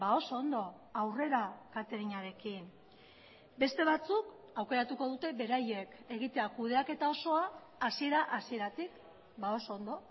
oso ondo aurrera cateringarekin beste batzuk aukeratuko dute beraiek egitea kudeaketa osoa hasiera hasieratik oso ondo